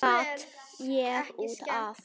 Svo datt ég út af.